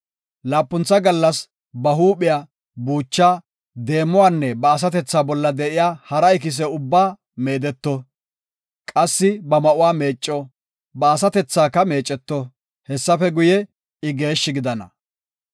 Laapuntha gallas ba huuphiya, buuchaa, deemuwanne ba asatethaa bolla de7iya hara ikise ubbaa meedeto; qassi ba ma7uwa meecco; ba asatethaka meeceto; Hessafe guye, I geeshshi gidana.